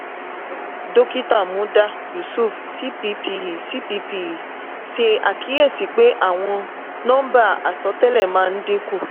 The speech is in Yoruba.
dókítà muda yusuf cppe cppe ṣe àkíyèsí pé àwọn nọmba asọtẹlẹ máa ń dínkù.